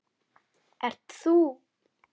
Ert þú?